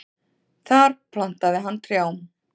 Þar plantaði hann trjám.